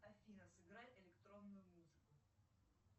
афина сыграй электронную музыку